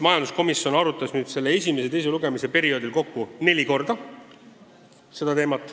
Majanduskomisjon arutas esimese ja teise lugemise vahelisel perioodil seda teemat kokku neli korda.